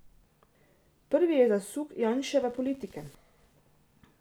Prvi je zasuk Janševe politike.